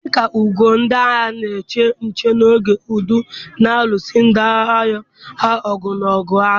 Dị Dị ka ugo, ndị agha na-eche nche n'oge udo na-alụso ndị iro ha ọgụ n'oge agha.